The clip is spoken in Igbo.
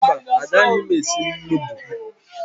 Mba, agaghị m esi nudụ